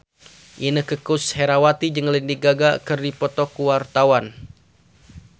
Inneke Koesherawati jeung Lady Gaga keur dipoto ku wartawan